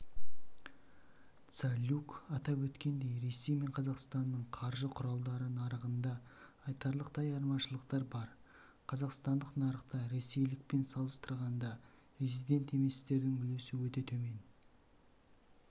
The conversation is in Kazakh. цалюк атап өткендей ресей мен қазақстанның қаржы құралдары нарығында айтарлықтай айырмашылықтар бар қазақстандық нарықта ресейлікпен салыстырғанда резидент еместердің үлесі өте төмен